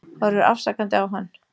Horfir afsakandi á hann.